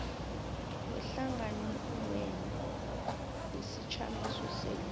wehlanganwenu wesijamiso senu